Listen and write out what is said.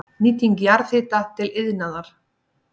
Nýting jarðhita til iðnaðar